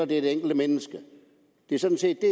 det er det enkelte menneske det er sådan set det